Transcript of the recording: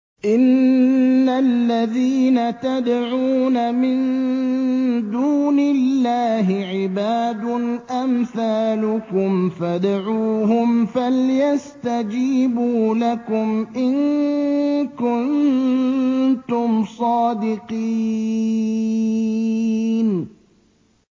إِنَّ الَّذِينَ تَدْعُونَ مِن دُونِ اللَّهِ عِبَادٌ أَمْثَالُكُمْ ۖ فَادْعُوهُمْ فَلْيَسْتَجِيبُوا لَكُمْ إِن كُنتُمْ صَادِقِينَ